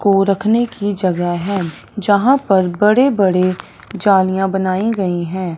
को रखने की जगह है जहां पर बड़े बड़े जालियां बनाई गई हैं।